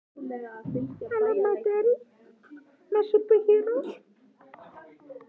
Fullmyndað finnst það ekki víða og nær eingöngu í dýrafæðu.